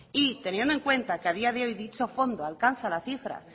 y teniendo en cuenta que a día de hoy dicho fondo alcanza la cifra